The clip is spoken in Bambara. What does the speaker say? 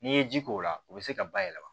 N'i ye ji k'o la o bɛ se ka bayɛlɛma